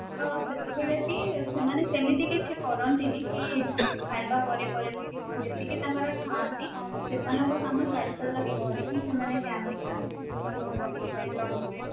ତ ସେତେବେଳେ ବି ସେମାନେ ସେମିତି କିଛି କରନ୍ତିନି କି ଖାଇବା ପରେ ପରେ କି କଣ ଯେମିତି କି ତାଙ୍କର ଥାନ୍ତି ସେମାନଙ୍କର କାମ ସେମାନେ ଖାଇସାରିଲା ପରେ ହିଁ ଖାଇକି ସେମାନେ ଯାଆନ୍ତି ଯୋଉ ତାଙ୍କର ରହିଥାଏ lunch break